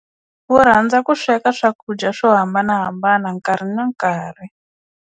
Wu rhandza ku sweka swakudya swo hambanahambana nkarhi na nkarhi.